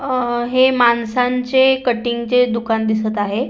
अ हे माणसांचे कटिंग चे दुकान दिसत आहे.